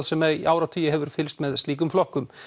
sem í áratugi hefur fylgst með slíkum flokkum